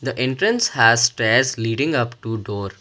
The entrance has stairs leading upto door.